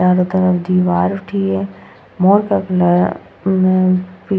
चारों तरफ दीवार उठी है मॉल का कलर म पी --